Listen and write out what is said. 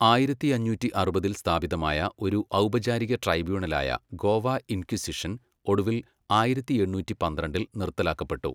ആയിരത്തിയഞ്ഞൂറ്റി അറുപതിൽ സ്ഥാപിതമായ ഒരു ഔപചാരിക ട്രൈബ്യൂണലായ ഗോവ ഇൻക്വിസിഷൻ, ഒടുവിൽ ആയിരത്തിയെണ്ണൂറ്റി പന്ത്രണ്ടിൽ നിർത്തലാക്കപ്പെട്ടു.